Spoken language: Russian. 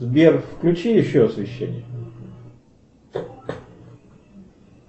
сбер включи еще освещение